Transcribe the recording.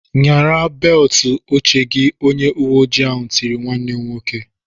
"Nyara beltụ oche gị!" Onye uweoji ahụ tiri nwanne m nwoke.